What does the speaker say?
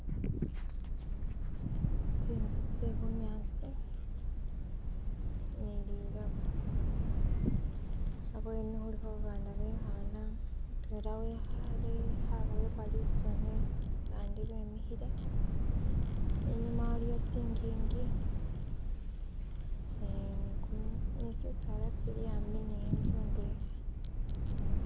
Tsinzu tse bunyasi nililoba khabweni khulikho abaana bekhana mutwela wikhale khaboyebwa litsune bandi bemikhile inyuma waliyo tsingingi eeh ni kumu ni tsitsaalala tsili hambi ni intsu ndwela